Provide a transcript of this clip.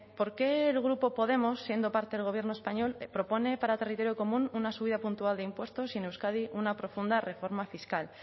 por qué el grupo podemos siendo parte del gobierno español propone para el territorio común una subida puntual de impuestos y en euskadi una profunda reforma fiscal